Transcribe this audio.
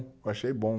Eu achei bom.